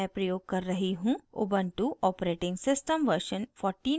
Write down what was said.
ubuntu operating system version 1404